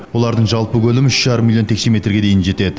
олардың жалпы көлемі үш жарым миллион текше метрге дейін жетеді